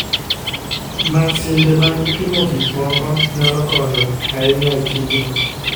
Masinde mag pimo gik moko nyalo konyo ahinya e tijno.